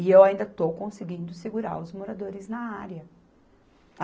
E eu ainda estou conseguindo segurar os moradores na área.